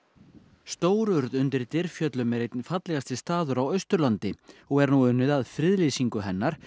stórurð undir Dyrfjöllum er einn fallegasti staður á Austurlandi og er nú unnið að friðlýsingu hennar